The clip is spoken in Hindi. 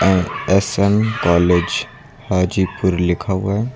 एस_एम कॉलेज हाजीपुर लिखा हुआ है।